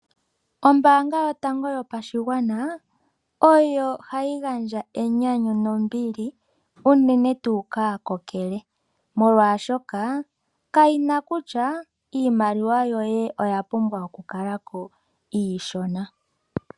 Ombaanga yotango yopashigwana ohayi gandja enyanyu nombili unene tuu kaakokele. Molwashoka kayina kutya iimaliwa yoye oyapumbwa okukala ko iishona.